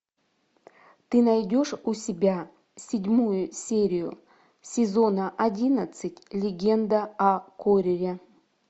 ты найдешь у себя седьмую серию сезона одиннадцать легенда о корре